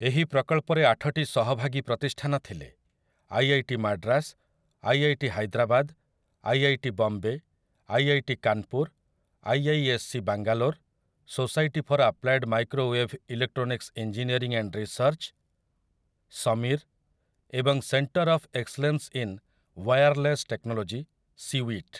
ଏହି ପ୍ରକଳ୍ପରେ ଆଠଟି ସହଭାଗୀ ପ୍ରତିଷ୍ଠାନ ଥିଲେ, I I T Madras, I I T Hyderabad, I I T Bombay, I I T Kanpur, I I S C Bangalore, society for applied microwave electronics engineering and research, SAMEER, ଏବଂ centre of excellence in wireless technology, CEWiT.